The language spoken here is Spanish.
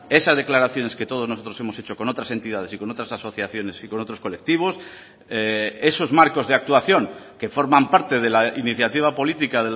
esas declaraciones que todos nosotros hemos hecho con otras entidades y con otras asociaciones y con otros colectivos esos marcos de actuación que forman parte de la iniciativa política